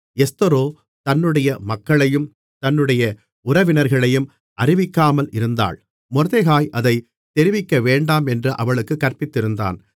எஸ்தரோ தன்னுடைய மக்களையும் தன்னுடைய உறவினர்களையும் அறிவிக்காமல் இருந்தாள் மொர்தெகாய் அதைத் தெரிவிக்கவேண்டாமென்று அவளுக்குக் கற்பித்திருந்தான்